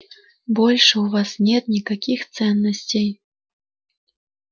больше у вас нет никаких ценностей